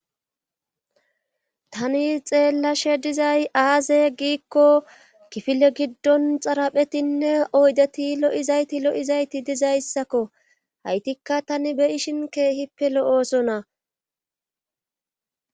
Tani xeellashe dizay aaze giikko kifile giddon xaraphetinne oydeti lo7izayti lo7izayti dizayssakko haytikka tani beyishin keehippe lo7oosona.